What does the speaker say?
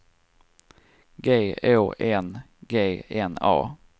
G Å N G N A